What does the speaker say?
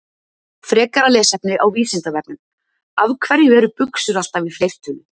Frekara lesefni á Vísindavefnum: Af hverju eru buxur alltaf í fleirtölu?